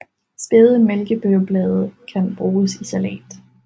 Spæde mælkebøtteblade kan bruges i salat